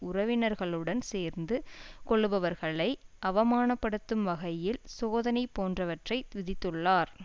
உறவினர்களுடன் சேர்ந்து கொள்ளுபவர்களை அவமானப்படுத்தும் வகையில் சோதனை போன்றவற்றை விதித்துள்ளார்